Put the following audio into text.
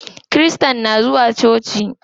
Kirista na zuwa coci.